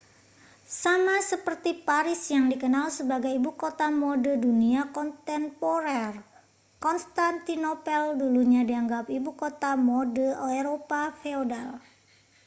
sama seperti paris yang dikenal sebagai ibu kota mode dunia kontemporer konstantinopel dulunya dianggap ibu kota mode eropa feodal